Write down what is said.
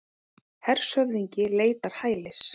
Hershöfðingi leitar hælis